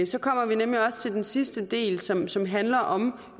så kommer vi nemlig også til den sidste del som som handler om